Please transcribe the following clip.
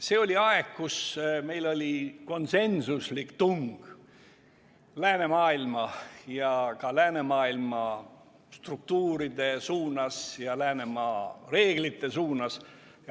See oli aeg, kui meil oli konsensuslik tung läänemaailma ja ka läänemaailma struktuuride ja läänemaailma reeglite suunas.